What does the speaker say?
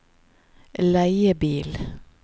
leiebil